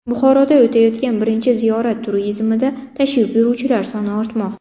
Buxoroda o‘tayotgan birinchi ziyorat turizmida tashrif buyuruvchilar soni ortmoqda.